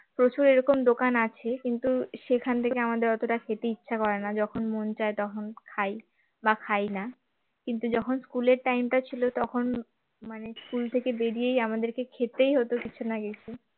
প্রচুর এরকম দোকান আছে কিন্তু সেখান থেকে আমাদের অতটা খেতে ইচ্ছা করে না যখন মন চায় তখন খাই বা খাই না কিন্তু যখন school এর time টা ছিল তখন মানে school থেকে বেরিয়েই আমাদের খেতেই হতো কিছু না কিছু